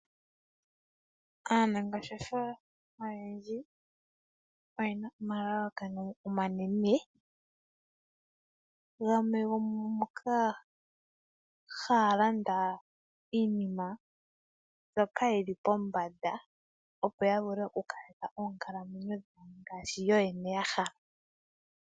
Aanangeshefa oyendji oyena omalalakano omanene gamwe gomungoka haya landa iinima mbyoka yili pombanda opo yavule okukaleka dhawo ngaashi yoyene yahala.